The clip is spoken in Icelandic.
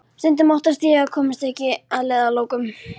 Stundum óttast ég að ég komist ekki að leiðarlokum.